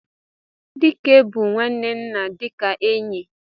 Dike bu nwanne nna dika enyi.